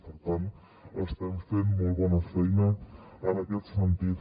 per tant estem fent molt bona feina en aquest sentit